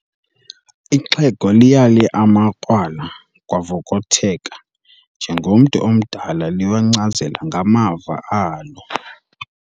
Ixhego liyale amakrwala kwavokotheka njengomntu omdala liwancazela ngamava alo.